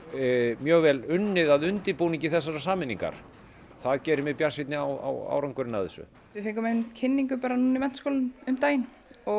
mjög vel unnið að undirbúningi þessarar sameiningar það gerir mig bjartsýnni á árangurinn af þessu við fengum einmitt kynningu bara núna í Menntaskólanum um daginn og